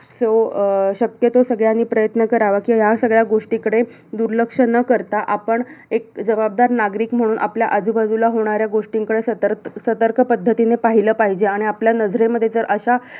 So शक्यतो सगळ्यांनी प्रयत्न करावा, किंया सगळ्या गोष्टीकडे दुर्लक्ष न करता. आपण एक जबाबदार नागरिक म्हणून आपल्या आजूबाजूला होणाऱ्या गोष्टींकडे सतर्क~ सतर्क पद्धतीने पाहिलं पाहिजे. आणि आपल्या नजरेमध्ये जर अशा